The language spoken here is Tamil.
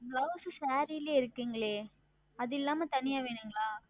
BlouseSaree லியே இருக்கிறதே அது இல்லாமல் தனியாக வேண்டுமா